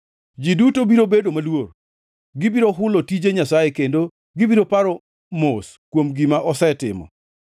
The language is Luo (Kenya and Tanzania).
Ji duto biro bedo maluor, gibiro hulo tije Nyasaye, kendo gibiro paro mos kuom gima osetimo.